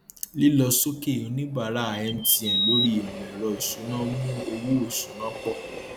lílọsókè oníbàárà mtn lórí ìmọẹrọ ìsúná mú owó ìsúná pọ